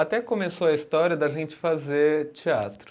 Até que começou a história da gente fazer teatro.